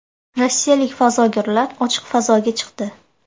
Rossiyalik fazogirlar ochiq fazoga chiqdi.